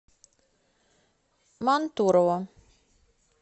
мантурово